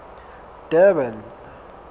durban